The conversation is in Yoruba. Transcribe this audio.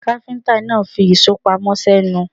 Káfíńtà náà fi ìṣó pamọ́ sẹ́nu.